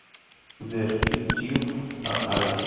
сбер ютьюб аали